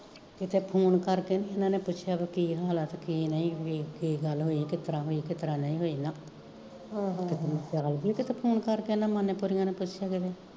ਕਿਤੇ ਫੋਨ ਕਰਕੇ ਵੀ ਏਨਾ ਨੇ ਪੁੱਛਿਆ ਹੋਏ ਵੀ ਕੀ ਹਾਲ ਕਿ ਕੀ ਨਈਂ, ਕੀ ਗੱਲ ਹੋਈ, ਕਿਤਰਾਂ ਹੋਈ ਕਿਤਰਾਂ ਨਈਂ ਹੋਈ ਨਾ ਹਮ ਕਿਤੇ ਸਿਆਣਦੀ ਆ ਕਿਤੇ ਫੋਨ ਕਰਕੇ ਏਨਾ ਮੈਨੂੰ ਪਰੀਆਂ ਨੇ ਪੁੱਛਿਆ ਕਦੇ